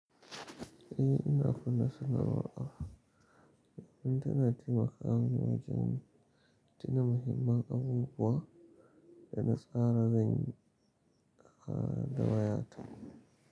Eh ina kunna sanarwa. Kuma tana taimaka ni wajen tuna muhimman abubuwa da na tsara zan yi da wayata.